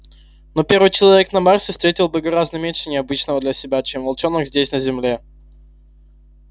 но первый человек на марсе встретил бы гораздо меньше необычного для себя чем волчонок здесь на земле